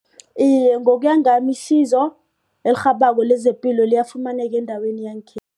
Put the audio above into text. Iye, ngokuya ngami isizo elirhabako lezepilo liyafumaneka endaweni